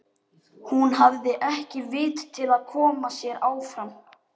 Hún hafði ekki vit til að koma sér áfram.